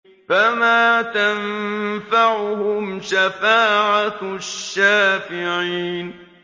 فَمَا تَنفَعُهُمْ شَفَاعَةُ الشَّافِعِينَ